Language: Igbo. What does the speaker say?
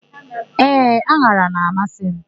Ee, an̄ara na-amasị mụ.